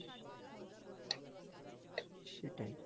সেটাই,